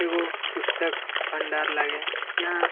एगो पुस्तक भंडार लगे यहाँ ।